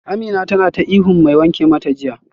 Amina tana ta ihun mai wanke mata jiya